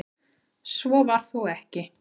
Svo var þó ekki.